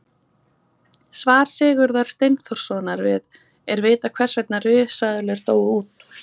Svar Sigurðar Steinþórssonar við Er vitað hvers vegna risaeðlur dóu út?